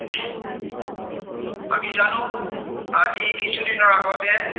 আজি কিছুদিনৰ আগতে